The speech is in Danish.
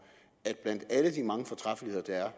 at blandt alle de mange fortræffeligheder der er